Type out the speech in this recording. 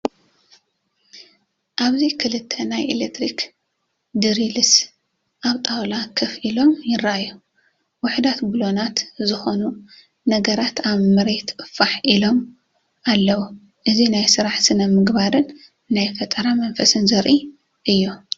ኣብዚ ክልተ ናይ ኤሌክትሪክ ድሪልስ ኣብ ጣውላ ኮፍ ኢሎም ይረኣዩ። ውሑዳት ብሎናት ዝኾኑ ነገራት ኣብ መሬት ፋሕ ኢሎም ኣለዉ። እዚ ናይ ስራሕ ስነ-ምግባርን ናይ ፈጠራ መንፈስን ዘርኢ እዩ።